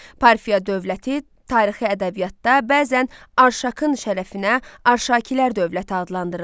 Parfiya dövləti tarixi ədəbiyyatda bəzən Arşakın şərəfinə Arşakilər dövləti adlandırılır.